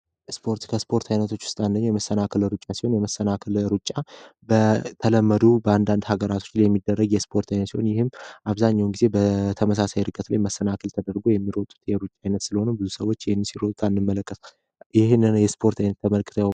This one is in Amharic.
እስፖርት ከእስፓርት አይነቶች ዉስጥ አንደኛዉ የመሰናክል ሩጫ ሲሆን የመሰናክል ሩጫ በተለመዱ በአንዳንድ ሀገራቶች ላይ የሚደረግ የስፖርት አይነት ሲሆን አብዛኘዉን ጊዜ በተመሳሳይ ላይ መሰናክል ተደርጎ የሚሮጥ የሩጫ አይነት ስለሆነ ብዙ ሰወች ሲሮጡት አንመለከትም።